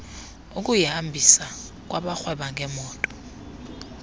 ukuyihambisa kwabarhweba ngeemoto